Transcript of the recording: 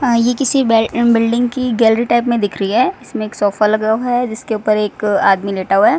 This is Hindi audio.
हां ये किसी बेल बिल्डिंग की गैलरी टाइप में दिख रही है इसमें एक सोफा लगा हुआ है जिसके ऊपर एक आदमी लेटा हुआ है।